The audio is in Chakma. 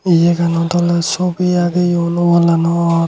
yea ganot ole sobi agey wallanot.